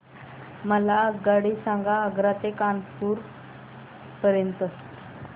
मला आगगाडी सांगा आग्रा ते कानपुर पर्यंत च्या